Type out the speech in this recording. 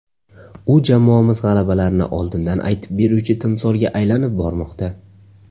U jamoamiz g‘alabalarini oldindan aytib beruvchi timsolga aylanib bormoqda.